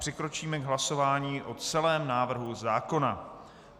Přikročíme k hlasování o celém návrhu zákona.